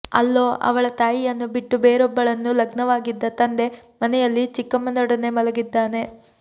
ಅಲ್ಲೋ ಅವಳ ತಾಯಿಯನ್ನು ಬಿಟ್ಟು ಬೇರೊಬ್ಬಳನ್ನು ಲಗ್ನವಾಗಿದ್ದ ತಂದೆ ಮನೆಯಲ್ಲಿ ಚಿಕ್ಕಮ್ಮನೊಡನೆ ಮಲಗಿದ್ದಾನೆ